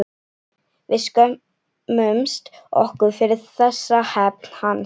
Við skömmumst okkur fyrir þessa hefnd hans.